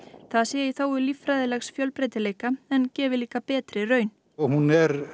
það sé í þágu líffræðilegs fjölbreytileika en gefi líka betri raun hún